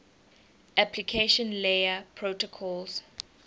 application layer protocols